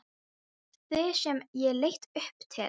Þig sem ég leit upp til.